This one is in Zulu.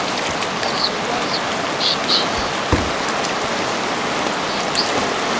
sizokwazi ukusheshisa ekususeni